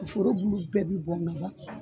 Foro bulu bɛɛ bi bɔn ga ban